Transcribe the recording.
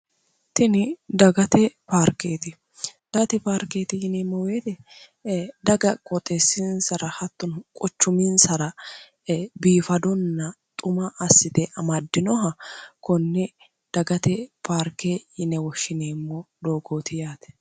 Tinni daggate paarkeeti daggate paarkeeti yineemo woyite dagga qooxeesinsara hattono quchuminsara biifadonna xuma asite amadinoha konne daggate paarke yine woshineemo doogooti yaate.